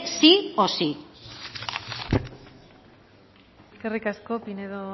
sí o sí eskerrik asko pinedo